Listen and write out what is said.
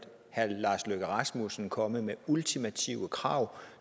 herre lars løkke rasmussen komme med ultimative krav